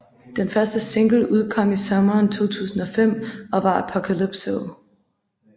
Den første single udkom i sommeren 2005 og var Apocalypso